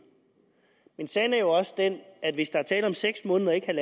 men sagen er jo også den at hvis der er tale om seks måneder og ikke en